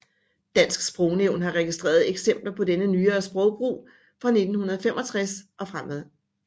Dansk Sprognævn har registreret eksempler på denne nyere sprogbrug fra 1965 og fremefter